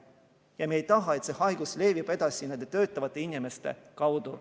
Ja me ei taha, et see haigus levib edasi nende töötavate inimeste kaudu.